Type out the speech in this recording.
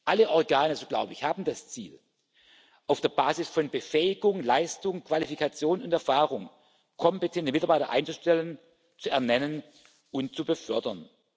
Alle Organe, so glaube ich, haben das Ziel, auf der Basis von Befähigung, Leistung, Qualifikation und Erfahrung kompetente Mitarbeiter einzustellen, zu ernennen und zu befördern.